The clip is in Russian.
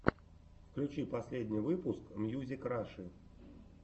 включи последний выпуск мьюзик раши